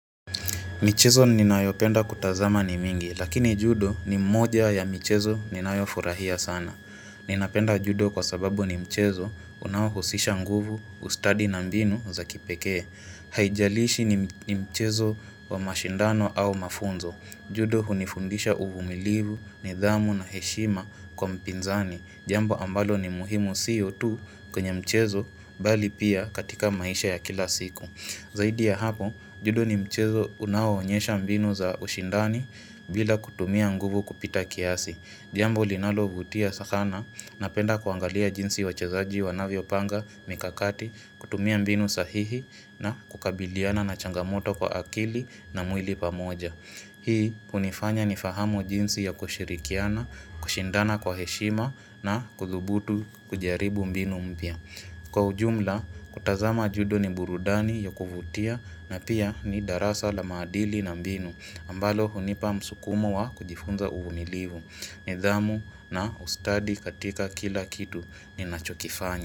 Michezo ninayopenda kutazama ni mingi, lakini judo ni moja ya michezo ninayofurahia sana. Ninapenda judo kwa sababu ni mchezo, unaohusisha nguvu, ustadi na mbinu za kipekee. Haijalishi ni mchezo wa mashindano au mafunzo. Judo hunifundisha uvumilivu, nidhamu na heshima kwa mpinzani. Jambo ambalo ni muhimu sio tu kwenye mchezo, bali pia katika maisha ya kila siku. Zaidi ya hapo, judo ni mchezo unaoonyesha mbinu za ushindani bila kutumia nguvu kupita kiasi. Jambo linalovutia sana, napenda kuangalia jinsi wachezaji wanavyopanga mikakati, kutumia mbinu sahihi na kukabiliana na changamoto kwa akili na mwili pamoja. Hii hunifanya nifahamu jinsi ya kushirikiana, kushindana kwa heshima na kuthubutu kujaribu mbinu mpya. Kwa ujumla, kutazama judo ni burudani ya kuvutia na pia ni darasa la maadili na mbinu, ambalo hunipa msukumo wa kujifunza uvumilivu, nidhamu na ustadi katika kila kitu ninachokifanya.